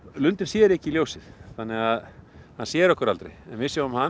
lundinn sér ekki ljósið þannig að hann sér okkur aldrei en við sjáum hann